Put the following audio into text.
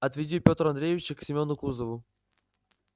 отведи пётра андреича к семёну кузову